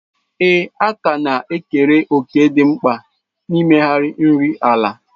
Ee, àkà na-ekere òkè dị mkpa n'ịmegharị nri ala.